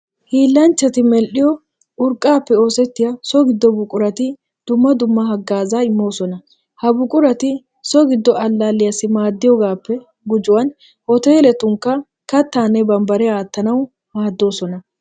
Hiillanchchati medhdhiyo urqqaappe oosettiya so giddo buqurati dumma dumma haggaazaa immoosona. Ha buqurati so giddo allaalliyassi maaddiyogaappe gujuwan hooteeletunkka kattaanne bambbariya aattanawu maaddoosona.